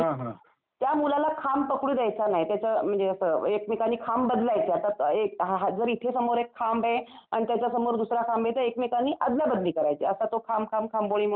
त्या मुलाला खांब पकडू द्यायचा नाही. त्याचं म्हणजे असं एकमेकांनी खांब बदलायचा. असं एक हा जर इथे समोर एक खांब आहे आणि त्याच्यासमोर दूसरा खांब आहे तर एकमेकांनी आदला बदली करायची असा तो खांब खांब खांबोळी म्हणून खेळ असतो.